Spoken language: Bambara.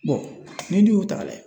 bɔn n'i dun y'u ta ka layɛ